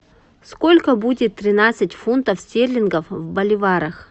сколько будет тринадцать фунтов стерлингов в боливарах